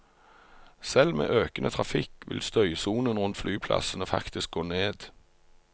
Selv med økende trafikk vil støysonen rundt flyplassene faktisk gå ned.